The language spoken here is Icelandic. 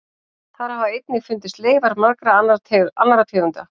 Þar hafa einnig fundist leifar margra annarra tegunda.